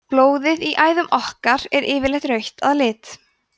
blóðið í æðum okkar er yfirleitt rautt að lit